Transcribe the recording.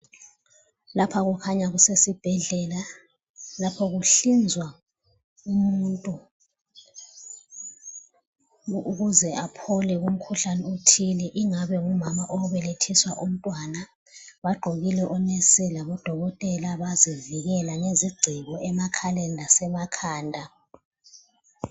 Lapha kukhanya kusesibhedlela, lapha kuhlinzwa umuntu ukuze aphole kumkhuhlane othile, ingabe ngumama obelethiswa umntwana bagqokile onesi labodokotela bazivikela ngezigciko emakhaleni lasemakhanda.